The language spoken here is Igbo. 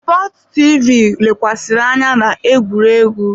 Sports light TV lekwasịrị anya na egwuregwu.